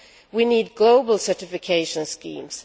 We need global certification schemes.